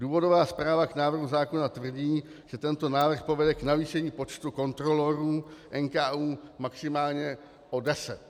Důvodová zpráva k návrhu zákona tvrdí, že tento návrh povede k navýšení počtu kontrolorů NKÚ maximálně o deset.